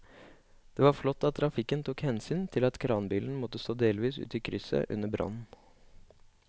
Det var flott at trafikken tok hensyn til at kranbilen måtte stå delvis ute i krysset under brannen.